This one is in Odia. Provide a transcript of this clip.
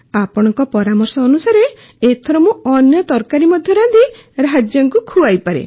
ଆପଣଙ୍କ ପରାମର୍ଶ ଅନୁସାରେ ଏଥର ମୁଁ ଅନ୍ୟ ତରକାରୀ ମଧ୍ୟ ରାନ୍ଧି ରାଜାଙ୍କୁ ଖୁଆଇପାରେ